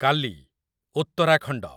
କାଲି , ଉତ୍ତରାଖଣ୍ଡ